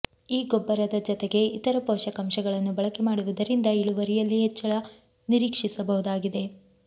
ಈ ಗೊಬ್ಬರದ ಜತೆಗೆ ಇತರ ಪೋಷಕಾಂಶಗಳನ್ನು ಬಳಕೆ ಮಾಡುವುದರಿಂದ ಇಳುವರಿಯಲ್ಲಿ ಹೆಚ್ಚಳ ನಿರೀಕ್ಷಿಸಬಹುದಾಗಿದೆ